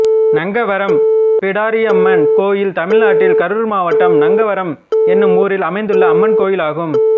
நங்கவரம் பிடாரியம்மன் கோயில் தமிழ்நாட்டில் கரூர் மாவட்டம் நங்கவரம் என்னும் ஊரில் அமைந்துள்ள அம்மன் கோயிலாகும்